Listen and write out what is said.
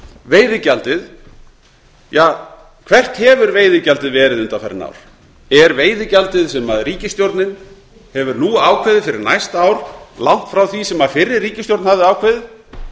veiðigjaldið ja hvert hefur veiðigjaldið verið undanfarin ár er veiðigjaldið sem ríkisstjórnin hefur nú ákveðið fyrir næsta ár langt frá því sem fyrri ríkisstjórn hafði ákveðið